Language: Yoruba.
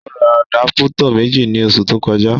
Ó ra àdápútọ̀ méjì ní oṣù tó kọjá